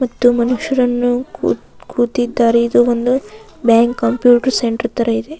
ಮತ್ತು ಮನುಷ್ಯರನ್ನು ಕೂತ್ ಕೂತಿದ್ದಾರೆ ಇದು ಒಂದು ಬ್ಯಾಂಕ್ ಕಂಪ್ಯೂಟರ್ ಸೆಂಟರ್ ತರ ಇದೆ.